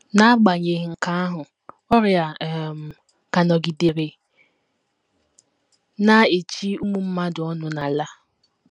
N’agbanyeghị nke ahụ, ọrịa um ka nọgidere na - echi ụmụ mmadụ ọnụ n’ala.